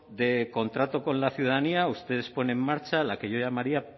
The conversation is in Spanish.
de contrato con la ciudadanía ustedes ponen en marcha la que yo llamaría